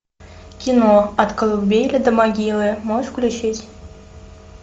кино от колыбели до могилы можешь включить